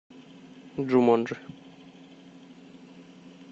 джуманджи